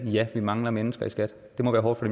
ja vi mangler mennesker i skat det må være hårdt for